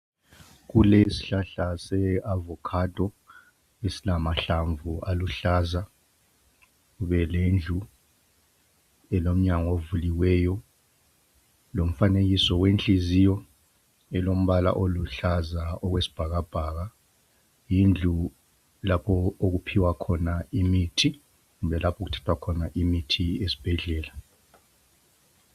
Kulesihlahla se avocado esilamahlamvu aluhlaza. Kube lendlu elomnyango uvuliweyo lomfanekiso wenhliziyo elombala oluhlaza okwesibhakabhaka, yindlu lapho okuphiwa khona imithi kuthwe lapho okuthathwa khona imithi esibhedlela.